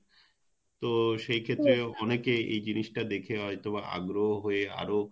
তো সেই ক্ষেত্রে অনেকে এই জিনিস টা দেখে হয়তোবা আগ্রহ হয়ে আরো